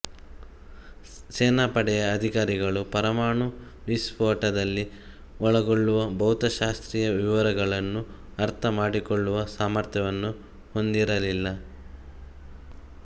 ಸೇನಾಪಡೆಯ ಅಧಿಕಾರಿಗಳು ಪರಮಾಣು ವಿಸ್ಫೋಟದಲ್ಲಿ ಒಳಗೊಳ್ಳುವ ಭೌತಶಾಸ್ತ್ರೀಯ ವಿವರಗಳನ್ನು ಅರ್ಥ ಮಾಡಿಕೊಳ್ಳುವ ಸಾಮರ್ಥ್ಯವನ್ನು ಹೊಂದಿರಲಿಲ್ಲ